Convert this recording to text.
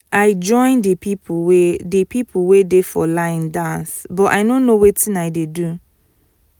i join the people wey the people wey dey for line dance but i no know wetin i dey do